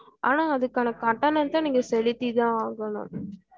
ஆனா அதுக்கான கட்டணத்த நீங்க செலுத்தி தான் ஆகணும்